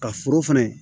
Ka foro fɛnɛ